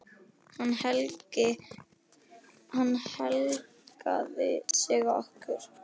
Hann helgaði sig okkur.